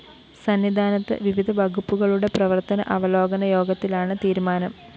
സന്നിധാനത്ത് വിവിധ വകുപ്പുകളുടെ പ്രവര്‍ത്തന അവലോകന യോഗത്തിലാണ് തീരുമാനം